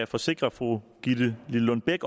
forsikre fru gitte lillelund bech